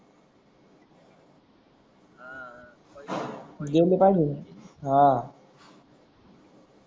देले पहिजे अं